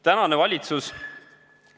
Tänane valitsus ...